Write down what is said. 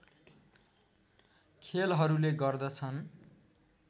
खेलहरूले गर्दछन्